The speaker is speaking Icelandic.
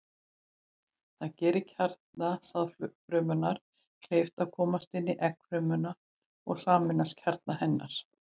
Það gerir kjarna sáðfrumunnar kleift að komast inn í eggfrumuna og sameinast kjarna hennar.